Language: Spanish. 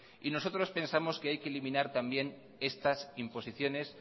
y nosotros pensamos que hay que eliminar también estas imposiciones